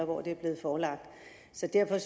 hvor det blev forelagt så derfor